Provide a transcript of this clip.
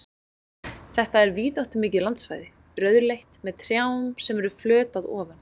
Þetta er víðáttumikið landsvæði, rauðleitt, með trjám sem eru flöt að ofan.